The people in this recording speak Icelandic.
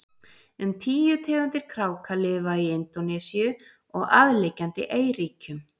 um tíu tegundir kráka lifa í indónesíu og aðliggjandi eyríkjum